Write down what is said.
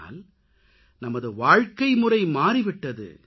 ஆனால் நமது வாழ்க்கைமுறை மாறி விட்டது